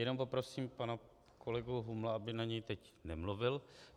Jenom poprosím pana kolegu Humla, aby na něj teď nemluvil.